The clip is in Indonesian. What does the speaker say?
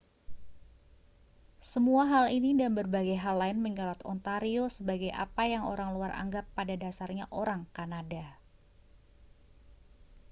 semua hal ini dan berbagai hal lain menyorot ontario sebagai apa yang orang luar anggap pada dasarnya orang kanada